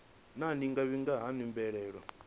naa ndi nga vhiga hani mbilaelo